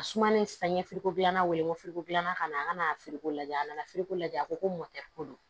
A sumalen saŋɛ ko gilanna wele ko ko gilanna ka na a kana firikori ko lajɛ a nana firiko lajɛ a ko ko mɔkɛ ko don